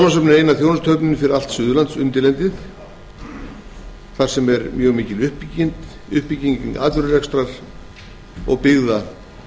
þjónustuhöfnin fyrir allt suðurlandsundirlendið en þar er mjög mikil uppbygging atvinnurekstrar og byggða